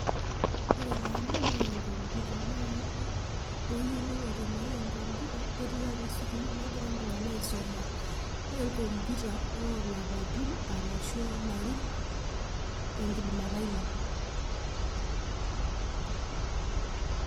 Ore taa ena naa computer naa pee eyiolou aitumiaa enkompyuta netieu enaa sukuul negira iltung'anak aisuma, ore enkompyuta olapaitin ashu ilarrin tenkidimata ino.